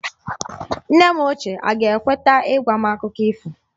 Nne m ochie aga-ekweta ịgwa m Akụkọ ifo?